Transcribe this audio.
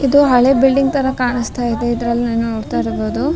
ಇದು ಹಳೆ ಬಿಲ್ಡಿಂಗ್ ತರ ಕಾಣಿಸ್ತಾ ಇದೆ ಇದ್ರಲ್ಲಿ ನೀವ್ ನೋಡ್ತಾ ಇರ್ಬೋದು.